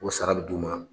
O sara bɛ d'u ma